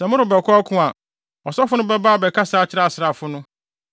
Sɛ morebɛkɔ ɔko a, ɔsɔfo no bɛba abɛkasa akyerɛ asraafo no.